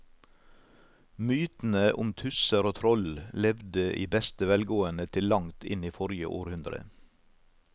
Mytene om tusser og troll levde i beste velgående til langt inn i forrige århundre.